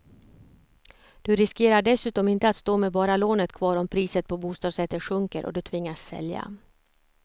Du riskerar dessutom inte att stå med bara lånet kvar om priset på bostadsrätter sjunker och du tvingas sälja.